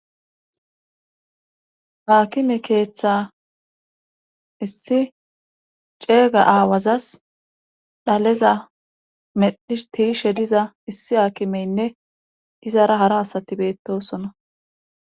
Haakime keeththa issi ceega aawazas dhaleza meddhis tiishe diza issi haakimeynne izara hara asati beettosona.